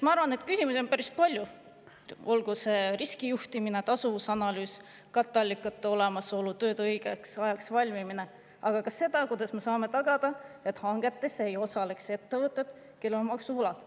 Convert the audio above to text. Ma arvan, et küsimusi on päris palju, olgu see riskijuhtimine, tasuvusanalüüs, katteallikate olemasolu või tööde õigeks ajaks valmimine, aga ka see, kuidas me saame tagada, et hangetes ei osaleks ettevõtted, kellel on maksuvõlad.